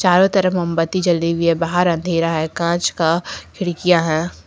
चारों तरफ मोमबत्ती जली हुई है बाहर अंधेरा है कांच का खिड़कियां हैं।